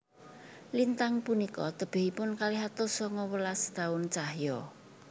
Lintang punika tebihipun kalih atus sanga welas taun cahya